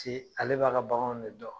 ale b'a ka baganw ne dɔn